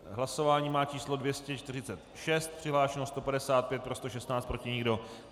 Hlasování má číslo 246, přihlášeno 155, pro 116, proti nikdo.